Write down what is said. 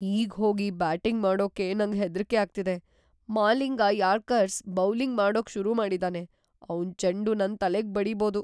ಈಗ್‌ ಹೋಗಿ ಬ್ಯಾಟಿಂಗ್ ಮಾಡೋಕೆ ನಂಗ್ ಹೆದ್ರಿಕೆ ಆಗ್ತಿದೆ. ಮಾಲಿಂಗ ಯಾರ್ಕರ್ಸ್ ಬೌಲಿಂಗ್ ಮಾಡೋಕ್ ಶುರು ಮಾಡಿದಾನೆ, ಅವ್ನ್ ಚೆಂಡು ನನ್ ತಲೆಗ್ ಬಡೀಬೋದು.